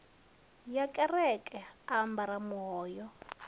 ya kereke a ambara muhoyo